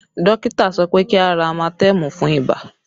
Dókítà sọ pé kí a ra amatẹmù fún ibà